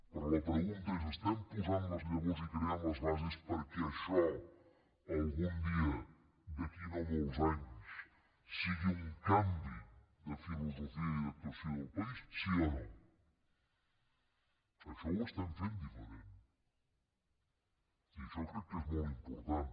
però la pregunta és estem posant les llavors i creant les bases perquè això algun dia d’aquí a no molts anys sigui un canvi de filosofia i d’actuació del país sí o no això ho estem fent diferent i això crec que és molt important